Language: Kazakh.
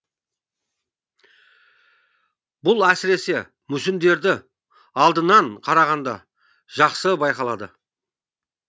бұл әсіресе мүсіндерді алдынан қарағанда жақсы байқалады